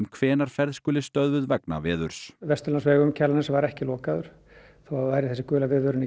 hvenær ferð skuli stöðvuð vegna veðurs Vesturlandsvegur um Kjalarnes var ekki lokaður þótt þessi gula viðvörun